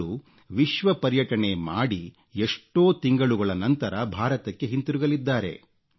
ಇವರು ವಿಶ್ವ ಪರ್ಯಟಣೆ ಮಾಡಿ ಎಷ್ಟೋ ತಿಂಗಳುಗಳ ನಂತರ ಭಾರತಕ್ಕೆ ಹಿಂದಿರುಗಲಿದ್ದಾರೆ